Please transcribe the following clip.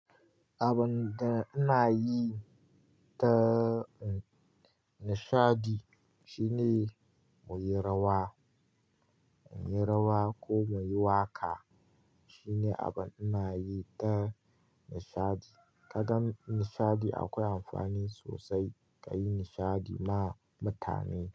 Abun da ina yi ta nishadi shine muyi rawa, muyi rawa ko muyi waƙa shine abun ina yi ta nishadi. Ka gan nishadi akwai amfani sosai ka yi nishadi ma mutane.